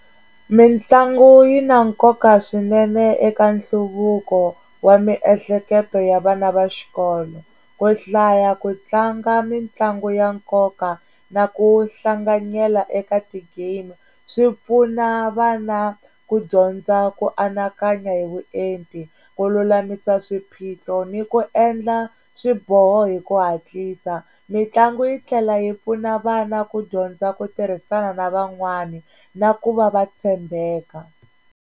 Mitlangu yi na nkoka swinene eka nhluvuko wa miehleketo ya vana va xikolo ku hlaya ku tlanga mitlangu ya nkoka na ku hlanganyela eka ti-game swipfuna vana ku dyondza ku anakanya hi vuenti ku lulamisa swiphiqo ni ku endla swiboho hi ku hatlisa, mitlangu yi tlhela yi pfuna vana ku dyondza ku tirhisana na van'wani na ku va va tshembeka.